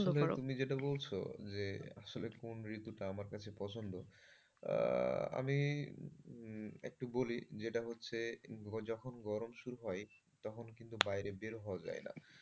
তুমি যেটা বলছো, যে আসলে কোন ঋতুটা আমার কাছে পছন্দ। আমি একটু বলি যেটা হচ্ছে যখন গরম শুরু হয় তখন কিন্তু বাইরে বের হয়ে যায় না।